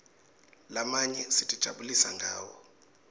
lamanye sitijabulisa ngawo